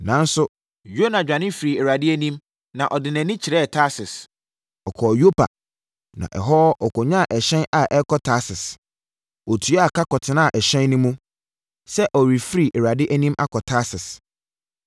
Nanso, Yona dwane firii Awurade anim na ɔde nʼani kyerɛɛ Tarsis. Ɔkɔɔ Yopa, na ɛhɔ ɔkɔnyaa ɛhyɛn a ɛrekɔ Tarsis. Ɔtuaa ka kɔtenaa ɛhyɛn no mu, sɛ ɔrefiri Awurade anim akɔ Tarsis.